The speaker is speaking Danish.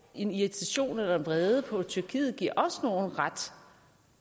en irritation eller en vrede på tyrkiet giver os nogen ret